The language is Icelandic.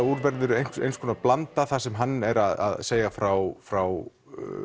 úr verður blanda sem hann er að segja frá frá